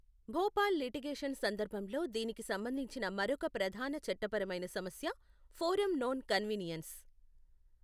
Bhopal litigation సందర్భంలో దీనికి సంబంధించిన మరొక ప్రధాన చట్టపరమైన సమస్య ఫోరమ్ నోన్ కన్వీనియన్స్.